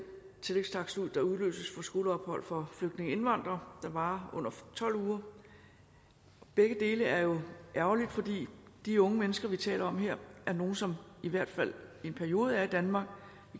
tillægstakst ud der udløses for skoleophold for flygtninge og indvandrere der varer under tolv uger begge dele er jo ærgerligt fordi de unge mennesker vi taler om her er nogle som i hvert fald i en periode er i danmark